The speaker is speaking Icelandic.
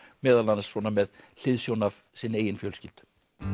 meðal annars með hliðsjón af sinni eigin fjölskyldu